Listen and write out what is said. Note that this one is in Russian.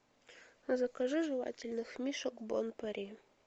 закажи жевательных мишек бон пари